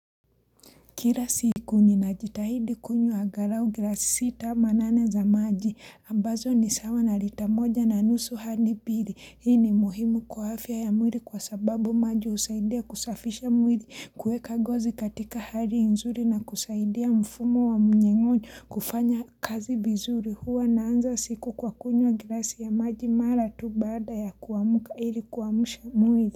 Kila siku ninajitahidi kunywa angalau glasi sita ama nane za maji ambazo ni sawa na lita moja na nusu hadi mbili. Hii ni muhimu kwa afya ya mwili kwa sababu maji husaidia kusafisha mwili kueka ngozi katika hali nzuri na kusaidia mfumo wa mnyengo kufanya kazi vizuri huwa naanza siku kwa kunywa glasi ya maji mara tu baada ya kuamka ili kuamsha mwili.